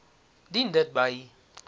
dien dit by